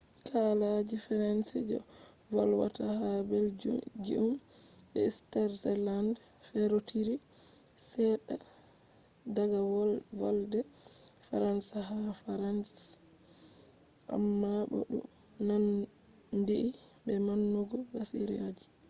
kalaji french je volwata ha belgium be switzerland ferotiri sedda daga volde faransa ha france amma bo du nandhi be maunugo basiraji